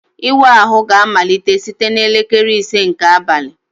Ịwa ahụ ga-amalite site na elekere ise nke abalị